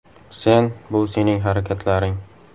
Sen – bu sening harakatlaring.